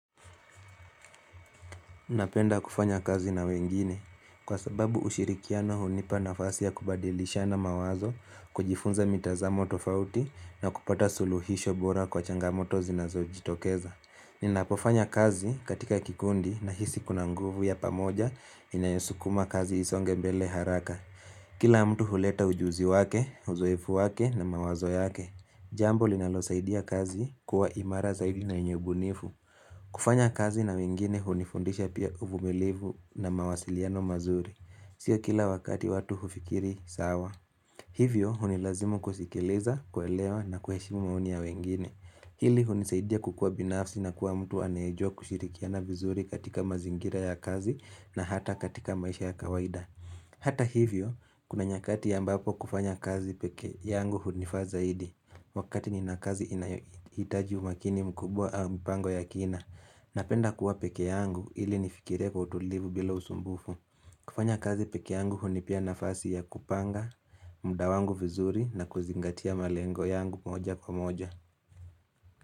Napenda kufanya kazi na wengine. Kwa sababu ushirikiano hunipa nafasi ya kubadilishana mawazo kujifunza mitazamo tofauti na kupata suluhisho bora kwa changamoto zinazojitokeza. Ninapofanya kazi katika kikundi nahisi kuna nguvu ya pamoja inayosukuma kazi isonge mbele haraka. Kila mtu huleta ujuzi wake, uzoefu wake na mawazo yake. Jambo linalosaidia kazi kuwa imara zaidi na yenye ubunifu. Kufanya kazi na wengine hunifundisha pia uvumilivu na mawasiliano mazuri. Sio kila wakati watu hufikiri sawa. Hivyo hunilazimu kusikileza, kuelewa na kuheshimu maoni ya wengine. Hili hunisaidia kukua binafsi na kuwa mtu anayejua kushirikiana vizuri katika mazingira ya kazi na hata katika maisha ya kawaida. Hata hivyo, kuna nyakati ambapo kufanya kazi peke yangu hunifaa zaidi. Wakati ni na kazi inayo iii hitaji umakini mkubwa aaa mpango ya kina napenda kuwa pekee yangu ili nifikire kwa utulivu bila usumbufu. Kufanya kazi pekee yangu hunipea nafasi ya kupanga, mda wangu vizuri na kuzingatia malengo yangu moja kwa moja.